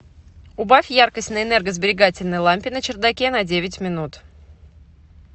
убавь яркость на энергосберегательной лампе на чердаке на девять минут